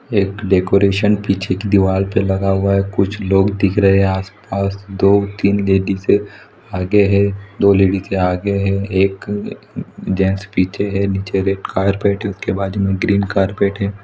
एक डेकरैशन पीछे की दीवाल पे लगे हुआ है कुछ लोग दिख रहे है आस-पास दो तीन लेड़िजें आगे है दो लेड़ीजें आगे है एक जैंट्स पीछे है नीचे रेड कार्पेट उसके बाजू में ग्रीन कार्पट हैं।